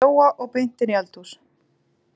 Þeir fóru heim til Jóa og beint inn í eldhús.